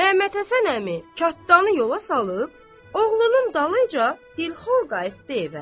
Məhəmməthəsən əmi kətdanı yola salıb, oğlunun dalıyca dilxor qayıtdı evə.